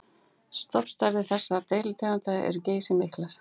Stofnstærðir þessara deilitegunda eru geysimiklar.